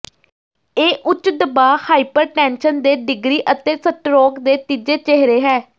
ਇਹ ਉੱਚ ਦਬਾਅ ਹਾਈਪਰਟੈਨਸ਼ਨ ਦੇ ਡਿਗਰੀ ਅਤੇ ਸਟਰੋਕ ਦੇ ਤੀਜੇ ਚਿਹਰੇ ਹੈ